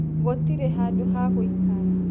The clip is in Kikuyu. Gũtĩrĩ handũ hagũĩkara.